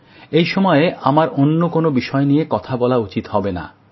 এই সময়ে আমার অন্য কোনো বিষয় নিয়ে কথা বলা উচিত হবে না